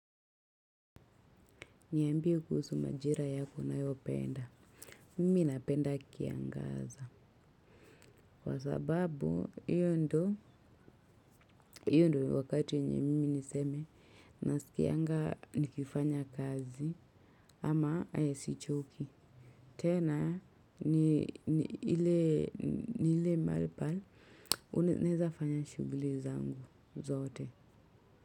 Niambie kuhusu majira yako unayopenda. Mimi napenda kiangaza. Kwa sababu, hiyo ndo, hiyo ndo wakati yenye mimi niseme nasikianga nikifanya kazi. Ama, sichoki. Tena, ni hile, ni hile malipal, unaeza fanya shuguli zangu, zote.